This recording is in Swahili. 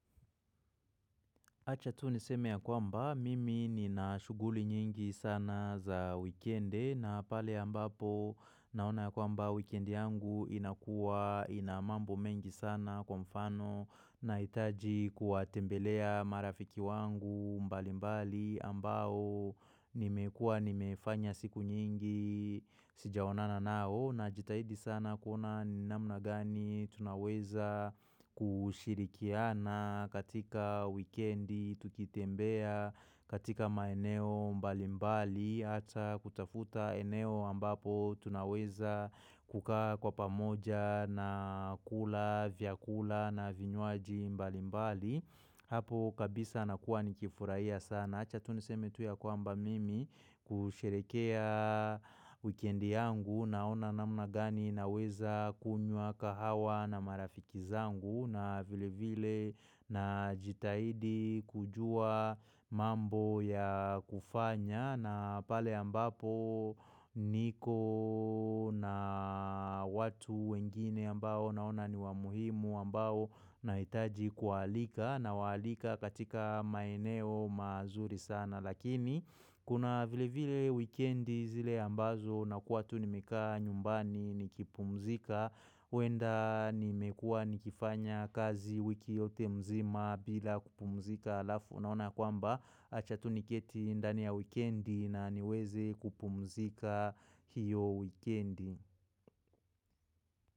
Acha tu niseme ya kwamba mimi nina shuguli nyingi sana za wikende na pale ambapo naona kwamba wikendi yangu inakua inamambo mengi sana kwa mfano na itaji kuatembelea marafiki wangu mbali mbali ambao nimekua nimefanya siku nyingi sijaonana nao. Na jitahidi sana kuona ni namna gani tunaweza kushirikiana katika wikendi, tukitembea katika maeneo mbalimbali, ata kutafuta eneo ambapo tunaweza kuka kwa pamoja na kula, vyakula na vinyuaji mbalimbali. Hapo kabisa nakuwa ni kifurahia sana. Achatuniseme tuya kwa mba mimi kusherekea wikendi yangu na ona namna gani na weza kunyua kahawa na marafiki zangu na vile vile na jitaidi kujua mambo ya kufanya na pale ambapo niko na watu wengine ambao na ona ni wamuhimu ambao na itaji kualika. Na walika katika maeneo mazuri sana Lakini kuna vile vile weekendi zile ambazo na kuwa tu nimekaa nyumbani nikipumzika huenda nimekua nikifanya kazi wiki yote mzima bila kupumzika alafu Naona kwamba achatuni keti indani ya weekendi na niweze kupumzika hiyo weekendi.